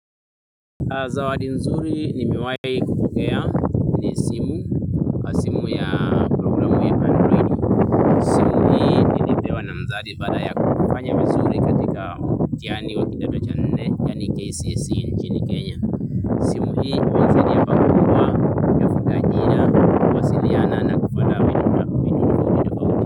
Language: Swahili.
Zawadi nzuri nimewai kupokea ni simu, simu ya programu inayoitwa simu hii nilipewa na mzazi baada ya kufanya vizuri katika mtihani wakidato cha nne yaani ni KCSE nchini Kenya. Simu hii imenisaidia pakubwa. Ajira kuwasiliana na kufuata vitu tofauti tofauti.